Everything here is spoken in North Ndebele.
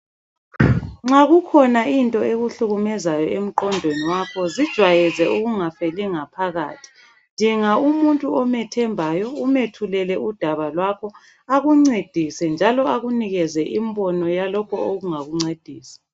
Nxa kukhona into ekuhlukumezayo emqondweni wakho zijwayeze ukungafeli ngaphakathi dinga umuntu omthembayo umethulele udaba lwakho akuncedise njalo akunikeze umbino ongakuncedisa.